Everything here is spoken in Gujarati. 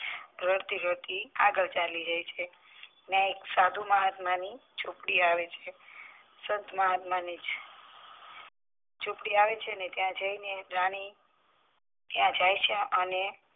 રડતી રડતી અગલ ચાલતી જાય છે ત્યાં એક સાધુ મહાત્માની ઝૂંપડી આવે છે સંતમહાત્મા ની ઝૂંપડી આવે છે ને ત્યાં જાય ને રાની ત્યાં જાય છે.